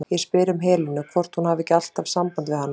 Ég spyr um Helenu, hvort hún hafi ekki alltaf samband við hana?